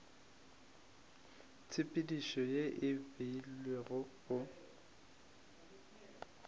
tshepedišo ye e beilwego go